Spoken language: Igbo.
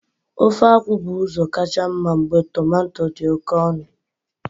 Ofe akwu bu uzo kacha mma mgbe tomato di oke onu.